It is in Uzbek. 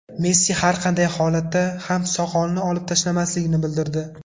Messi har qanday holatda ham soqolini olib tashlamasligini bildirdi .